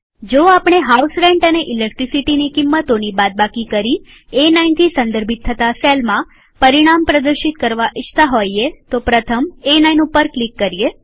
જો આપણે house rent અને ઈલેકટ્રીસીટીની કિંમતોની બાદબાકી કરી એ9થી સંદર્ભિત થતા સેલમાં પરિણામ પ્રદર્શિત કરવા ઇચ્છતા હોઈએ તો પ્રથમ એ9 ઉપર ક્લિક કરીએ